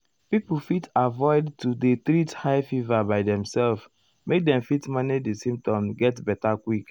people fit avoid to dey treat high fever by demselves make dem fit manage di symptoms get beta quick.